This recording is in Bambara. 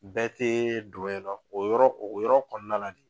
Bɛɛ tɛ don yen nɔ, o yɔrɔ o yɔrɔ kɔnɔna la de.